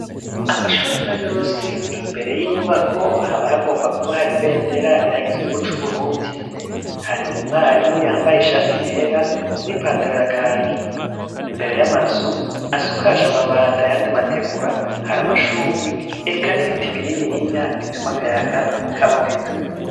Amashuri nkayos' imbere y'inyubako haba hagomba kuba har' ibendera rihagizwe ry igihugu cu burundi, har'umwarimu yambaye ishati yera n'ipantaro yirabura, imbere y'amazu har' inkingi z' amatafari niz ivyuma bisize irangi ry ubururu zifashe kugera ku mabati, har' amashugwe n'ibiti binini bitum' akayaga k'aboneka.